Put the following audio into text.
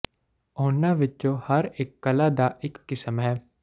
ਉਨ੍ਹਾਂ ਵਿਚੋਂ ਹਰ ਇਕ ਕਲਾ ਦਾ ਇਕ ਕਿਸਮ ਹੈ